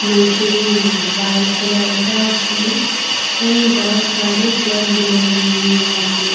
machine है white colour का असल में ये बहुत सारे भी लगे हुए हैं व्हाइट कलर --